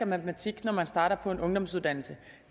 matematik når man starter på en ungdomsuddannelse